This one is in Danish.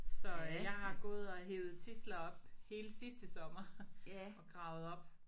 Så jeg har gået og hevet tidsler op hele sidste sommer og gravet op